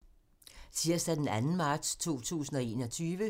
Tirsdag d. 2. marts 2021